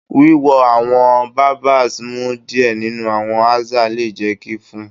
Wiwo awọn barbers mu diẹ ninu awọn aza le jẹ ki fun